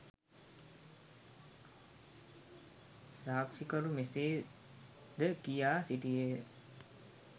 සාක්‌ෂි කරු මෙසේ ද කියා සිටියේය.